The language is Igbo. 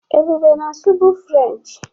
Ebube na-asụ bụ Frenchị.